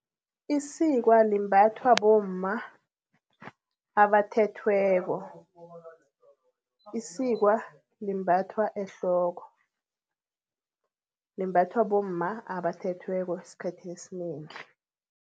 Isikwa limbathwa bomma abathethweko, isikwa limbathwa ehloko. Limbathwa bomma abathethweko eskhathini esinengi.